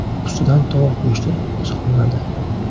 Ustidan tovuq go‘shti solinadi.